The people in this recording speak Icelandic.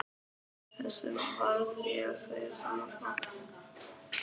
Þessu varð ég að segja Sölva frá.